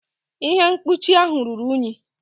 Ihe mkpuchi ahụ ruru unyi.